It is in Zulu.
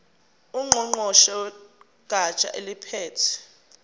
ngqongqoshe wegatsha eliphethe